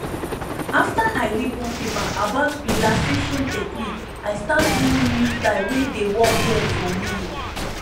after i read one paper about relaxation technique i start one new style wey dey work well for me